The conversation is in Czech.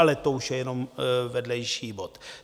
Ale to už je jenom vedlejší bod.